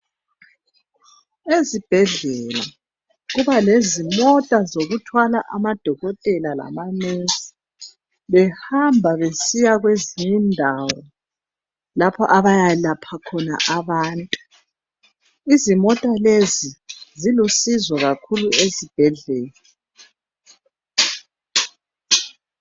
Ezibhedlela kuba lezimota zokuthwala amadokotela lama nesi behamba besiya kwezinye indawo lapho abayalapha khona abantu. Izimota lezi zilusizo kakhulu Ezibhedlela.